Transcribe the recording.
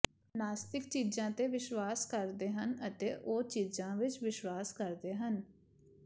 ਨਾਸਤਿਕ ਚੀਜ਼ਾਂ ਤੇ ਵਿਸ਼ਵਾਸ ਕਰਦੇ ਹਨ ਅਤੇ ਉਹ ਚੀਜ਼ਾਂ ਵਿੱਚ ਵਿਸ਼ਵਾਸ ਕਰਦੇ ਹਨ